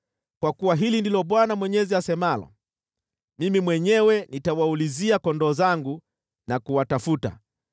“ ‘Kwa kuwa hili ndilo Bwana Mwenyezi asemalo: Mimi mwenyewe nitawaulizia kondoo wangu na kuwatafuta.